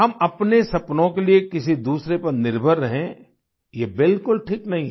हम अपने सपनों के लिये किसी दूसरे पर निर्भर रहें ये बिलकुल ठीक नहीं है